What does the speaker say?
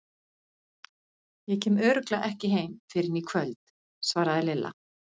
Ég kem örugglega ekki heim fyrr en í kvöld, svaraði Lilla.